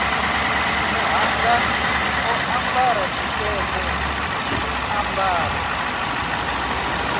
muṱhannga o ambara tshikete zwiambaro